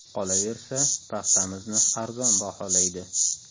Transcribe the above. Qolaversa, paxtamizni arzon baholaydi.